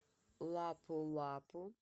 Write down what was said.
лапу лапу